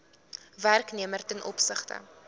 werknemer ten opsigte